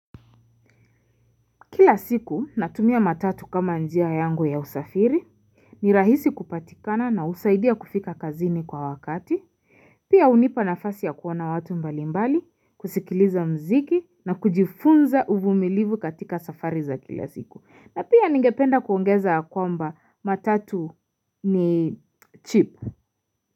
Kila siku natumia matatu kama njia yangu ya usafiri ni rahisi kupatikana na usaidia kufika kazini kwa wakati Pia unipa nafasi ya kuona watu mbali mbali kusikiliza mziki na kujifunza uvumilivu katika safari za kila siku na pia ningependa kuongeza ya kwamba matatu ni cheap.